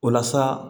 Walasa